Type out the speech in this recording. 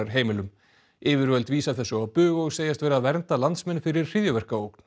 endurmenntunarheimilum yfirvöld vísa þessu á bug og segjast vera að vernda landsmenn fyrir hryðjuverkaógn